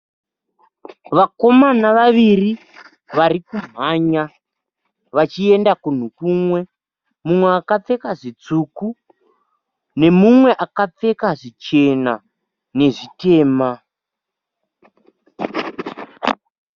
Vakomana vaviri vari kumhanya vachienda kunhu kumwe. Mumwe akapfeka zvitsvuku nemumwe akapfeka zvichena nezvitema.